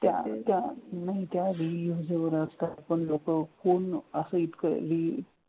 त्या त्या नाही त्या reusable असतात पण लोकं कोण असा इतकंही